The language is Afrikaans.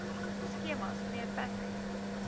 skemas mnr patrick